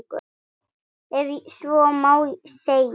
Ef svo má segja.